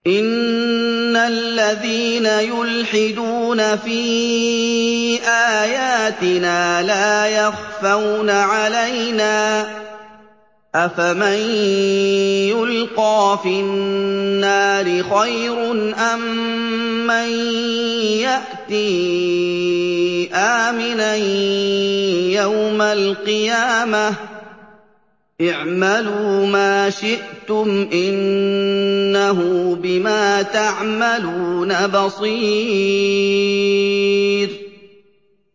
إِنَّ الَّذِينَ يُلْحِدُونَ فِي آيَاتِنَا لَا يَخْفَوْنَ عَلَيْنَا ۗ أَفَمَن يُلْقَىٰ فِي النَّارِ خَيْرٌ أَم مَّن يَأْتِي آمِنًا يَوْمَ الْقِيَامَةِ ۚ اعْمَلُوا مَا شِئْتُمْ ۖ إِنَّهُ بِمَا تَعْمَلُونَ بَصِيرٌ